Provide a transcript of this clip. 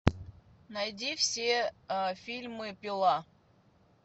найди все фильмы пила